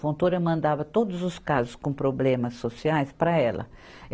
Fontoura mandava todos os casos com problemas sociais para ela.